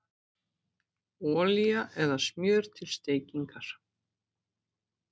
Olía eða smjör til steikingar